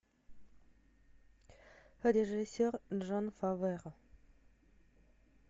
режиссер джон фавро